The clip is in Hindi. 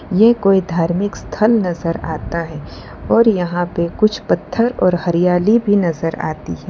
ये कोई धार्मिक स्थल नजर आता है और यहां पे कुछ पत्थर और हरियाली भी नजर आती है।